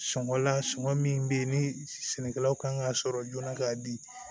Sɔngɔ la sɔngɔ min be yen ni sɛnɛkɛlaw kan ka sɔrɔ joona k'a di